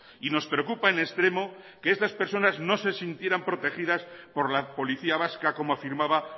y nos preocupa en extremo que estas personas no se sintieran protegidas por la policía vasca como afirmaba